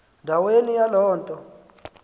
ndaweni yaloo nto